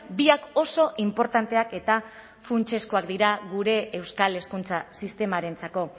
biak oso inportanteak eta funtsezkoak dira gure euskal hezkuntza sistemarentzako